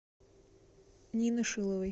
нины шиловой